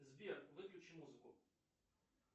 сбер выключи музыку